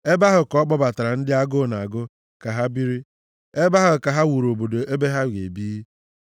ebe ahụ ka ọ kpọbatara ndị agụụ na-agụ ka ha biri, ebe ahụ ka ha wuru obodo ebe ha ga-ebi.